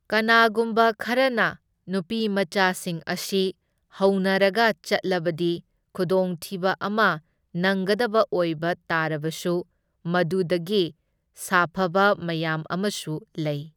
ꯀꯅꯥꯒꯨꯝꯕ ꯈꯔꯅ ꯅꯨꯄꯤ ꯃꯆꯥꯁꯤꯡ ꯑꯁꯤ ꯍꯧꯅꯔꯒ ꯆꯠꯂꯕꯗꯤ ꯈꯨꯗꯣꯡꯊꯤꯕ ꯑꯃ ꯅꯪꯒꯗꯕ ꯑꯣꯏꯕ ꯇꯥꯔꯕꯁꯨ ꯃꯗꯨꯗꯒꯤ ꯁꯥꯐꯕ ꯃꯌꯥꯝ ꯑꯃꯁꯨ ꯂꯩ꯫